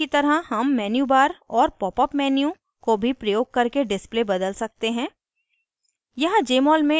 mol file की तरह हम menu bar और popअप menu को भी प्रयोग करके display बदल सकते हैं